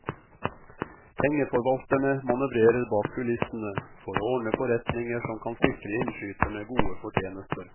Pengeforvalterne manøvrerer bak kulissene, for å ordne forretninger som kan sikre innskyterne gode fortjenester.